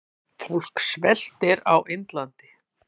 Fólk sveltur á Indlandi.